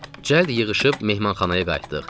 Cəld yığışıb mehmanxanaya qayıtdıq.